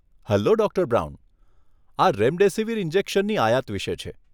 Hello, doctor Brown? આ remdesivir ઇન્જેક્શનની આયાત વિશે છે.